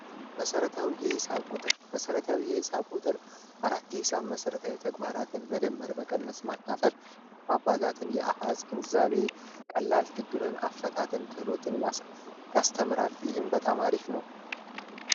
መሠረታዊ የሂሳብ ቁጥር መሰረታዊ የሂሳብ ቁጥር 45 መሰረታዊ ተግባራትን መደመር መቀነስ ማታቢ ቀላል ችግርን አፈታትን ክሎትን ያስተምራል ይህን በጣም አሪፍ ነው